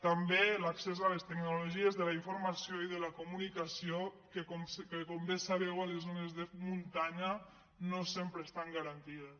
també l’ac·cés a les tecnologies de la informació i de la comuni·cació que com bé sabeu a les zones de muntanya no sempre estan garantides